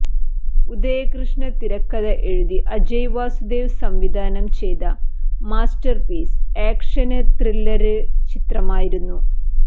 ഉദയകൃഷ്ണ തിരക്കഥ എഴുതി അജയ് വാസുദേവ് സംവിധാനം ചെയ്ത മാസ്റ്റര്പീസ് ആക്ഷന് ത്രില്ലര് ചിത്രമായിരുന്നു